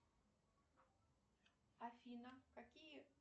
афина какие